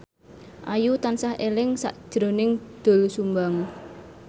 Ayu tansah eling sakjroning Doel Sumbang